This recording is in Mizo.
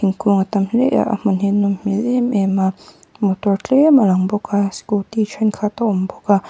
thingkung a tam hle a a hmun hi a nawm hmel em em a motor tlem a lang bawk a scooty thenkhat a awm bawk a.